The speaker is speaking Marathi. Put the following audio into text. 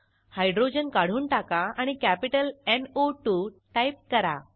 हायड्रोजन काढून टाका आणि कॅपिटल न् ओ 2 टाईप करा